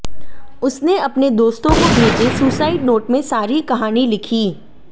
उसने अपने दोस्तों को भेजे सुसाइड नोट में सारी कहानी लिखी